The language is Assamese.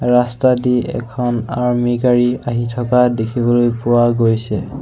ৰাস্তাদি এখন আৰ্মী গাড়ী আহি থকা দেখিবলৈ পোৱা গৈছে।